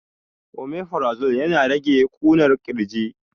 Omifrazol yana rage ƙunar ƙirji